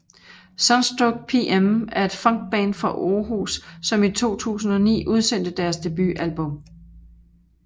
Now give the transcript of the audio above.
Sunstroke PM er et funkband fra Århus som i 2009 udsendte deres debutalbum